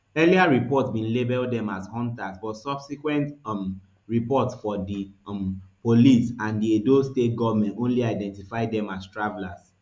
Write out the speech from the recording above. earlier reports bin label dem as hunters but subsequent um reports from di um police and di edo state goment only identify dem as travellers